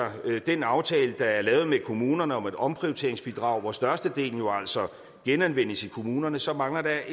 den aftale der er lavet med kommunerne om et omprioriteringsbidrag hvor størstedelen jo altså genanvendes i kommunerne så mangler der